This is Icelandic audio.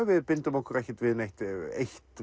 við bindum okkur ekki við neitt eitt